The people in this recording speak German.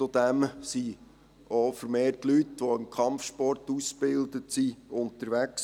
Zudem sind auch vermehrt Leute unterwegs, die im Kampfsport ausgebildet sind.